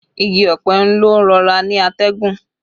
Igi ọ̀pẹ ń lọ rọra ni atẹ́gùn